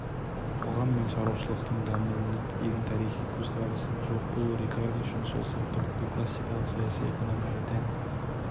қоғам мен шаруашылықтың дамуына деген тарихи көзқарастың жоқ болуы рикардо үшін сол сияқты бүкіл классикалық саяси экономияға тән